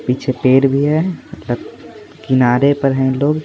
पीछे पेर भी है किनारे पर है लोग।